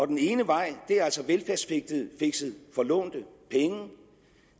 den ene vej er altså velfærdsfixet for lånte penge